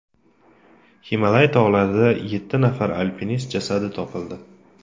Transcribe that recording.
Himolay tog‘larida yetti nafar alpinist jasadi topildi.